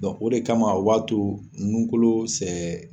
Dɔn o de kama u b'a to nunkolo sɛɛ